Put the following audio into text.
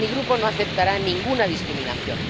Mi grupo no aceptará ninguna discriminación.